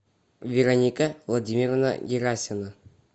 вероника владимировна герасина